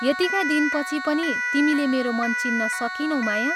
यतिका दिनपछि पनि तिमीले मेरो मन चिन्न सकिनौ माया?